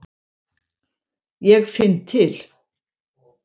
Ég finn til.